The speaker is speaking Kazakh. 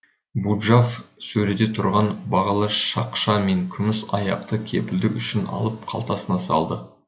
буджав сөреде тұрған бағалы шақша мен күміс аяқты кепілдік үшін алып қалтасына салды